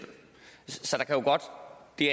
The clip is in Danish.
det